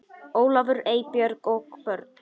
Ólafur, Eybjörg og börn.